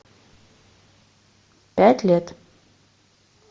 пять лет